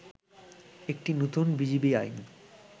একটি নতুন বিজিবি আইন